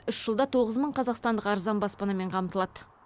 үш жылда тоғыз мың қазақстандық арзан баспанамен қамтылады